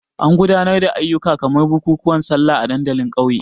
Ana gudanar da ayyuka kamar bukukuwan Sallah a dandalin ƙauye.